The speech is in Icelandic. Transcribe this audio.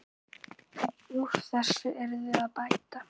Úr þessu yrði að bæta.